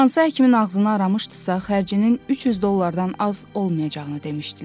Hansı həkimin ağzını aramışdısa, xərcinin 300 dollardan az olmayacağını demişdilər.